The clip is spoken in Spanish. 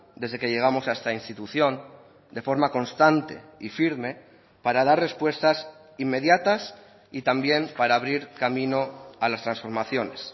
desde que llegamos a esta institución de forma constante y firme para dar respuestas inmediatas y también para abrir camino a las transformaciones